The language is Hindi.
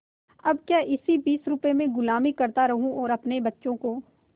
अब क्या इसी बीस रुपये में गुलामी करता रहूँ और अपने बच्चों को